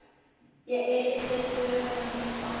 Ég eyði dögunum í fangi